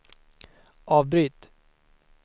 avbryt